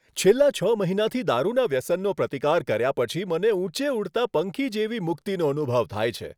છેલ્લા છ મહિનાથી દારૂના વ્યસનનો પ્રતિકાર કર્યા પછી મને ઊંચે ઉડતા પંખી જેવી મુક્તિનો અનુભવ થાય છે.